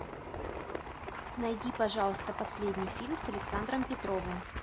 найди пожалуйста последний фильм с александром петровым